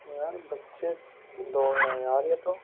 यार बच्चे दौड़ रहे हैं यार ये तो।